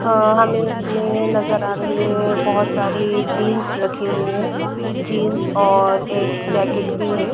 अ हमें इसमें नजर आ रही है बहुत सारी जींस रखी हुई है जींस और एक जैकेट भी है।